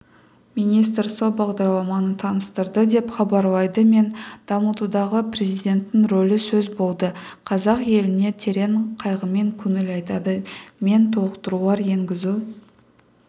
министр сол бағдарламаны таныстырды деп хабарлайды мен дамытудағы президенттің рөлі сөз болды қазақ еліне терең қайғымен көңіл айтады мен толықтырулар енгізу